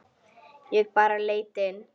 Ég bara leit inn.